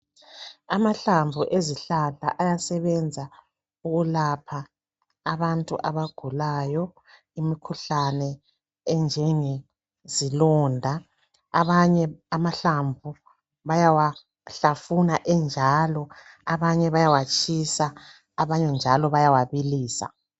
Amahlamvu ezihlahla ayasebenza ukulapha abantu abagulayo imikhuhlane enjenge zilonda. Abanye amahlamvu bayawahlafuna enjalo. Abanye bayawatshisa, abanye njalo bayawabilisa.